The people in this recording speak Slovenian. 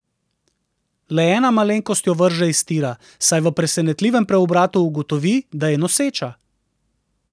Le ena malenkost jo vrže iz tira, saj v presenetljivem preobratu ugotovi, da je noseča!